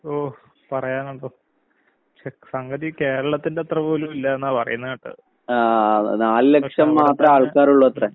ഓഹ് പറയാങ്കണ്ടോ. പക്ഷെ സംഗതി കേരളത്തിന്റത്ര പോലുവില്ലാന്നാ പറയുന്ന കേട്ടത്. പക്ഷെ അവടത്തെ ഉം